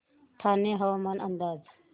ठाणे हवामान अंदाज